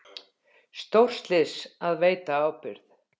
Stórslys að veita ábyrgð